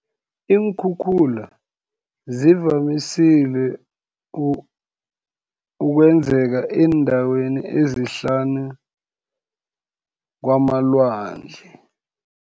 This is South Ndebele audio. Iinkhukhula, zivamisile ukwenzeka eendaweni ezihlanu, kwamalwandle.